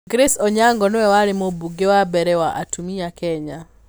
Grace Onyango nĩwe warĩ mũmbunge wa mbere wa atumia Kenya.